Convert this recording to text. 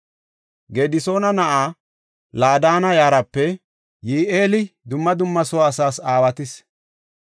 Gedisoona na7aa Laadanna yaraape Yi7eeli dumma dumma soo asaas aawates.